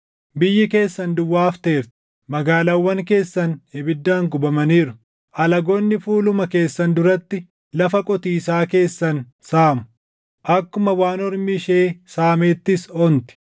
Biyyi keessan duwwaa hafteerti; magaalaawwan keessan ibiddaan gubamaniiru; alagoonni fuuluma keessan duratti lafa qotiisaa keessan saamu; akkuma waan ormi ishee saameettis onti.